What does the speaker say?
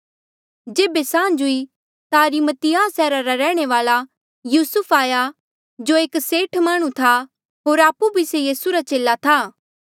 जेबे सांझ हुई ता अरिमतियाह सैहरा रा रैहणे वाल्आ युसुफ आया जो एक सेठ माह्णुं था होर आपु भी से यीसू रा चेला था